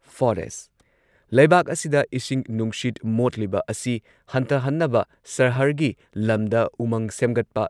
forest- ꯂꯩꯕꯥꯛ ꯑꯁꯤꯗ ꯏꯁꯤꯡ ꯅꯨꯡꯁꯤꯠ ꯃꯣꯠꯂꯤꯕ ꯑꯁꯤ ꯍꯟꯊꯍꯟꯅꯕ ꯁꯍꯔꯒꯤ ꯂꯝꯗ ꯎꯃꯪ ꯁꯦꯝꯒꯠꯄ,